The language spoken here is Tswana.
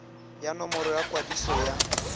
ya nomoro ya kwadiso ya